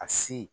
A si